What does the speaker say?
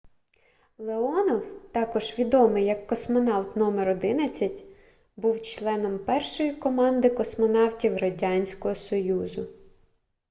леонов також відомий як космонавт №11 був членом першої команди космонавтів радянського союзу